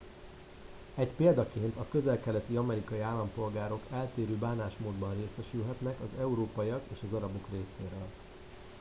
egy példaként a közel keleti amerikai állampolgárok eltérő bánásmódban részesülhetnek az európaiak és az arabok részéről